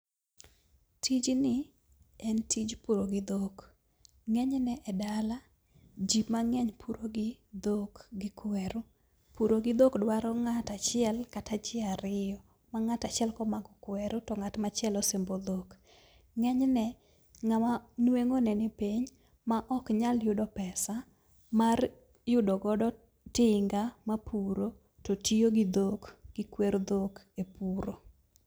Tijni en tij puro gi dhok. Ng'eny ne e dala, ji mang'eny puro gi dhok gi kweru. Puro gi dhok dwaro ng'atachiel kata ji ariyo, ma ng'atachiel komako kweru to ng'at machielo sembo dhok. Ng'eny ne, ng'ama nweng'o ne ni piny ma ok nyal yudo pesa mar yudo godo tinga mapuro to tiyo gi dhok, gi kwer dhok e puro.